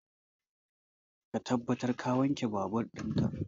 Ka tabbata ka wanke babur in ka!